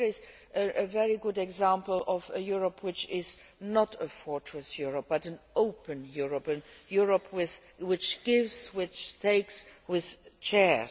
Here is a very good example of a Europe which is not a fortress Europe but an open Europe, a Europe which gives, which takes, which shares.